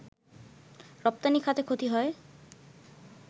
রপ্তানি খাতে ক্ষতি হয়